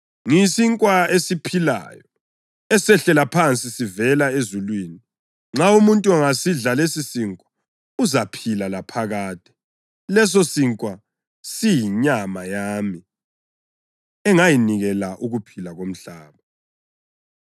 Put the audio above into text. Ngiyisinkwa esiphilayo esehlela phansi sivela ezulwini. Nxa umuntu angasidla lesisinkwa, uzaphila laphakade. Lesosinkwa siyinyama yami engizayinikela ukuphila komhlaba.”